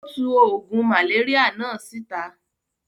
Ó tu oògùn màléríà náà síta.